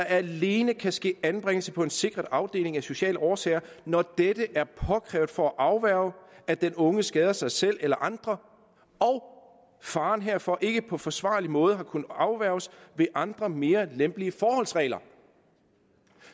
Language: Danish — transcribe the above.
alene ske anbringelse på en sikret afdeling af sociale årsager når dette er påkrævet for at afværge at den unge skader sig selv eller andre og faren herfor ikke på forsvarlig måde har kunnet afværges med andre mere lempelige forholdsregler